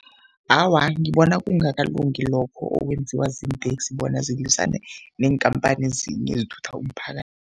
Awa, ngibona kungakalungi lokho okwenziwa ziinteksi bona zilwisane neenkhamphani ezinye ezithutha umphakathi.